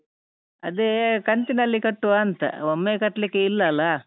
ಅದೇ ಕಂತಿನಲ್ಲಿ ಕಟ್ಟುವಾಂತ ಒಮ್ಮೆ ಕಟ್ಲಿಕ್ಕೆ ಇಲ್ಲಲ್ಲಾ?